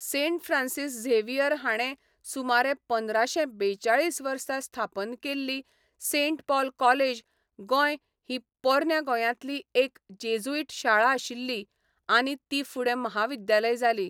Saint Francis Xavier हाणें सुमार पंदराशें बेचाळीस वर्सा स्थापन केल्ली सेंट पॉल कॉलेज गोंय ही पोरन्या गोंयांतली एक जेजुईट शाळा आशिल्ली आनी ती फुडें महाविद्यालय जाली.